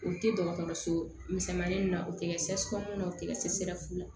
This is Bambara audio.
O tɛ dɔgɔtɔrɔso misɛmanin ninnu na u tɛ kɛ sekɔni na o tɛ kɛ sefu la